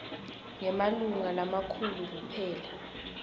ngemalunga lamakhulu kuphela